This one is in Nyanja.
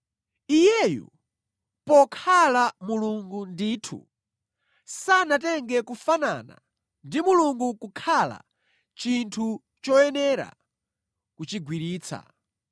Iyeyu, pokhala Mulungu ndithu, sanatenge kufanana ndi Mulungu kukhala chinthu choyenera kuchigwiritsa.